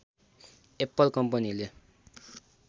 Apple कम्पनीले